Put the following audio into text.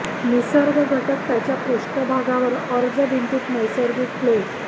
निसर्ग घटक त्याच्या पृष्ठभागावर अर्ज भिंतीत नैसर्गिक प्लेट